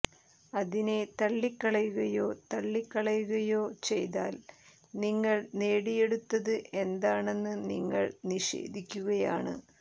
അതിനെ തള്ളിക്കളയുകയോ തള്ളിക്കളയുകയോ ചെയ്താൽ നിങ്ങൾ നേടിയെടുത്തത് എന്താണെന്ന് നിങ്ങൾ നിഷേധിക്കുകയാണ്